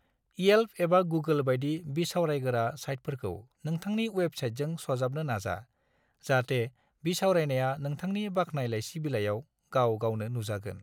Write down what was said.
इयेल्प एबा गुगोल बायदि बिसावरायगोरा साइटफोरखौ नोंथांनि वेबसाइटजों सरजाबनो नाजा, जाहाथे बिसावरायनाया नोंथांनि बाख्नाय लायसि बिलायाव गाव-गावनो नुजागोन।